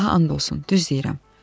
Allaha and olsun, düz deyirəm.